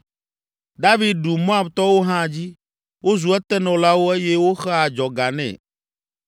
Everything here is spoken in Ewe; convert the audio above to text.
David ɖu Moabtɔwo hã dzi, wozu etenɔlawo eye woxea adzɔga nɛ.